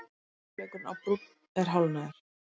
Fyrri hálfleikurinn á Brúnn er hálfnaður